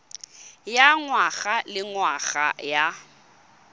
ya ngwaga le ngwaga ya